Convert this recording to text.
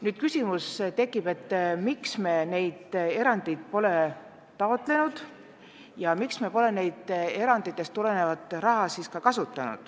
Tekibki küsimus, miks me neid erandeid pole taotlenud ja miks me pole saanud eranditest tulenevat raha kasutada.